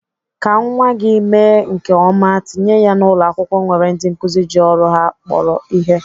Ka nwa gị mee nke ọma, tinye ya na ụlọakwụkwọ nwere ndị nkụzi ji ọrụ ha kporo ihe.